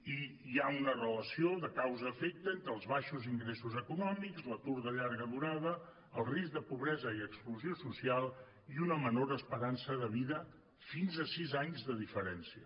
i hi ha una relació de causa efecte entre els baixos ingressos econòmics l’atur de llarga durada el risc de pobresa i exclusió social i una menor esperança de vida fins a sis anys de diferència